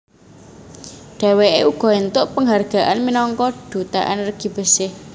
Dheweke uga entuk penghargaan minangka Duta Energi Bersih